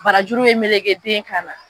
Barajuru ye meleke den kan na.